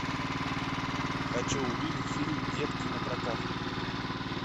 хочу увидеть фильм детки напрокат